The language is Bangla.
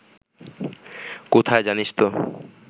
কোথায় জানিস তো